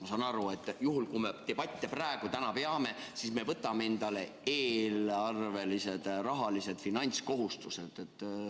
Ma saan aru, et kui me praegu debatte peame, siis võtame endale eelarvelised finantskohustused.